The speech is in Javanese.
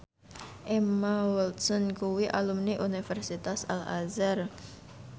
Emma Watson kuwi alumni Universitas Al Azhar